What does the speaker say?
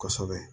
Kosɛbɛ